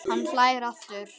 Hann hlær aftur.